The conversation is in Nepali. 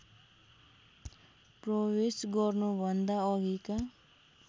प्रवेश गर्नुभन्दा अघिका